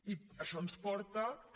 i això ens porta que